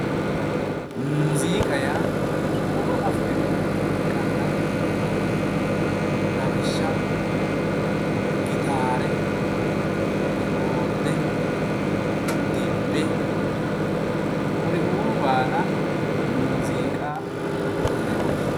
muziiqa yaa huuro afrinoricho ikkanna lawishshaho gitaare kiboorde dibbe kuriuu baala muziiqa yine woshshinanni.